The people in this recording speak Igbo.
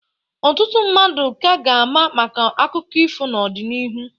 Ọtụtụ mmadụ ka ga-ama maka akụkọ ifo n'odịnihu.